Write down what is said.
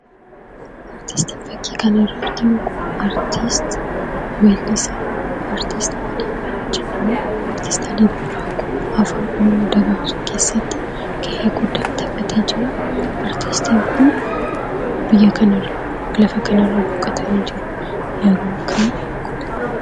Aartistiin fakkii kanarraa argaa jirru kun, weellisaa Alii Birraa jedhamuun kan beekamuudha. Artistii Alii Birraa kun afaan oromoo dagaagsuu keessatti gahee guddaa taphatee jira. Artiistiin kun, lafa kanarraa boqotanii jiru.